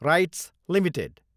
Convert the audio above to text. rights Ltd